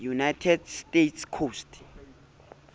united states coast